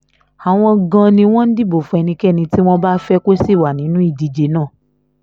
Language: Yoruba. àwọn gan-an ni wọ́n ń dìbò fún ẹnikẹ́ni tí wọ́n bá fẹ́ kó sì wà nínú ìdíje náà